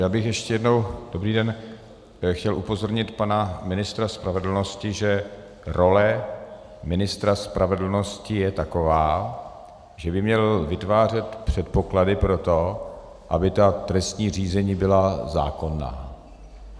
Já bych ještě jednou - dobrý den - chtěl upozornit pana ministra spravedlnosti, že role ministra spravedlnosti je taková, že by měl vytvářet předpoklady pro to, aby ta trestní řízení byla zákonná.